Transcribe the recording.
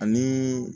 Ani